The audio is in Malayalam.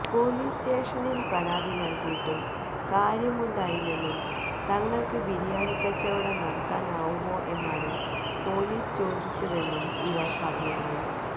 പൊലീസ് സ്റ്റേഷനില് പരാതി നല്കിയിട്ടും കാര്യമുണ്ടായില്ലെന്നും തങ്ങള്ക്ക് ബിരിയാണിക്കച്ചവടം നടത്താനാവുമോ എന്നാണ് പൊലീസ് ചോദിച്ചതെന്നും ഇവര് പറഞ്ഞിരുന്നു